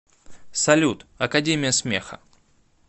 салют академия смеха